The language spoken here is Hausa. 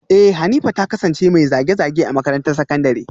Eh Hanifa ta kasance mai zage-zage a makarantar sakandare